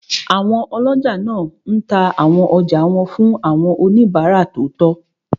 Àwọn ọlọ́jà máa n ta àwọn ọjà wọn fún àwọn oníbàárà tó tọ́